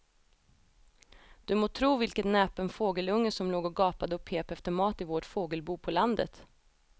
Du må tro vilken näpen fågelunge som låg och gapade och pep efter mat i vårt fågelbo på landet.